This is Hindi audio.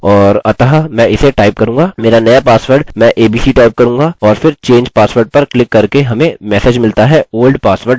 मेरा नया पासवर्ड मैं abc टाइप करूँगा और फिर change password पर क्लिक करके हमें मेसेज मिलता है old password doesnt match!